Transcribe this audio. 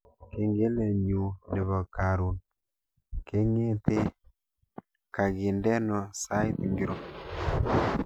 Kengelenyu nebo karun kengete kangindeno sait ngiro